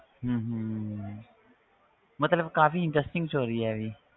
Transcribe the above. ਹਮ ਹਮ ਮਤਲਬ ਕਾਫ਼ੀ interesting story ਹੈ ਇਹ ਵੀ